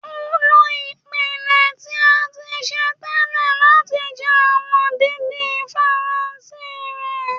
o lo ipẹtẹ ti a ti ṣe tẹlẹ lati jẹ awọn didin Faranse rẹ.